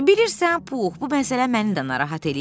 Bilirən Pux, bu məsələ məni də narahat eləyir.